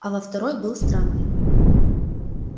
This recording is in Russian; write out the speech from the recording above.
а во второй был странный